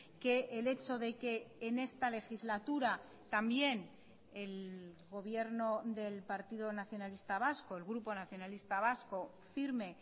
que el hecho de que en esta legislatura también el gobierno del partido nacionalista vasco el grupo nacionalista vasco firme